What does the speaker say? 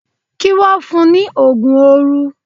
Kí wọ́n fun ní òògùn oorun.